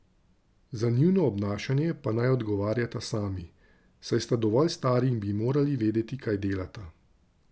Za njuno obnašanje pa naj odgovarjata sami, saj sta dovolj stari in bi morali vedeti kaj delata.